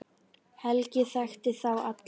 Helgi þekkti þá alla.